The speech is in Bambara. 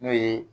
N'o ye